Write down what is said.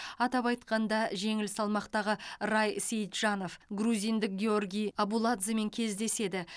атап айтқанда жеңіл салмақтағы рай сейітжанов грузиндік гиорги абуладземен кездеседі